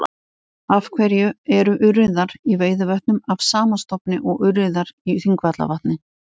Af hverju eru urriðar í Veiðivötnum af sama stofni og urriðar í Þingvallavatni?